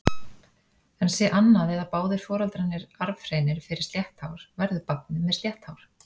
En sé annað eða báðir foreldrarnir arfhreinir fyrir slétt hár, verður barnið með slétt hár.